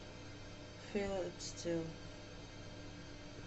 фил ит стилл